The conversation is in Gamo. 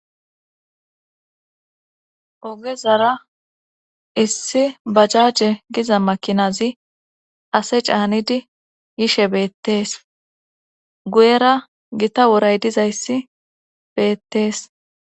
Ogezara issi bajaje giza makinazi ase caanidi yishe beettees guyera gita woray dizayssi beettees.